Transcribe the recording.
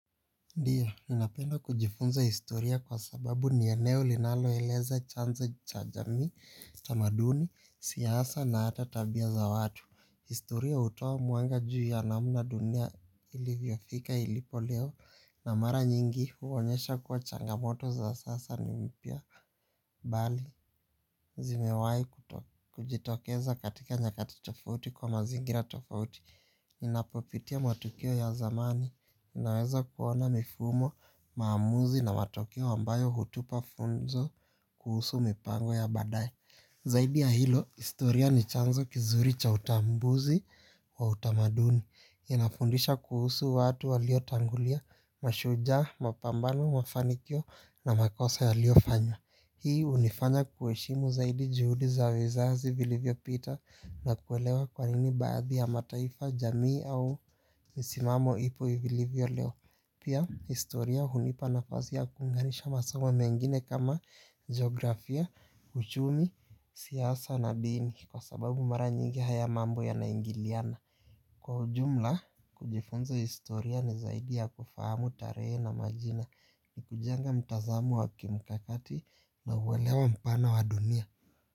Ndiyo, ninapenda kujifunza historia kwa sababu ni eneo linaloeleza chanza cha jamii tamaduni, siasa na ata tabia za watu. Historia hutoa mwanga juu ya namna dunia ilivyofika ilipo leo. Na mara nyingi huonyesha kuwa changamoto za sasa ni mpya bali zimewai kujitokeza katika nyakati tofauti kwa mazingira tofauti. Ninapopitia matukio ya zamani ninaweza kuona mifumo, maamuzi na matokeo ambayo hutupa funzo kuhusu mipango ya baadae. Zaidi ya hilo, istoria ni chanzo kizuri cha utambuzi wa utamaduni. Inafundisha kuhusu watu waliotangulia, mashujaa, mapambano, mafanikio na makosa yaliofanya. Hii unifanya kuheshimu zaidi juhudi za zizazi vilivyopita. Na kuelewa kwa nini baadhi ya mataifa jamii au misimamo ipo ivilivyo leo. Pia historia hunipa nafasi ya kuunganisha masomo mengine kama geografia, uchumi, siasa na dini kwa sababu mara nyingi haya mambo yanaingiliana. Kwa ujumla, kujifunza historia ni zaidi ya kufahamu tarehe na majina ni kujenga mtazamo wa kimkakati na uelewa mpana wa dunia.